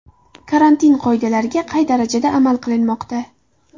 Karantin qoidalariga qay darajada amal qilinmoqda?.